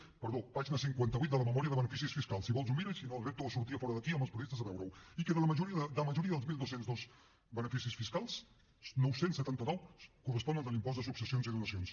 perdó pàgina cinquanta vuit de la memòria de beneficis fiscals si vol s’ho mira i si no el repto a sortir fora d’aquí amb els periodistes a veure ho i que de la majoria dels dotze zero dos beneficis fiscals nou cents i setanta nou corresponen a l’impost de successions i donacions